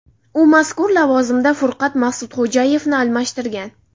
U mazkur lavozimda Furqat Maqsudxo‘jayevni almashtirgan.